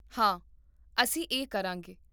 ਹਾਂ, ਅਸੀਂ ਇਹ ਕਰਾਂਗੇ